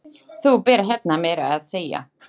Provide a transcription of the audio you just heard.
Þú býrð hérna meira að segja